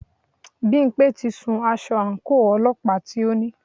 Bímpé ti sun aṣọ àńkò ọlọ́pàá tí o ní.